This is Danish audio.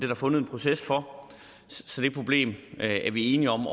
der fundet en proces for så det problem er vi enige om